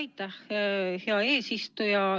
Aitäh, hea eesistuja!